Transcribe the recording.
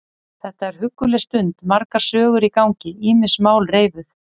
Þetta er hugguleg stund, margar sögur í gangi, ýmis mál reifuð.